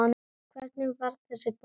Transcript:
Hvernig varð þessi bók til?